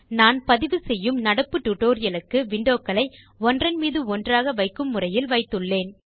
நான் பதிவு செய்யும் நடப்பு டியூட்டோரியல் க்கு windowகளை ஒன்றன்மீது ஒன்றாக வைக்கும் முறையில் வைத்துள்ளேன்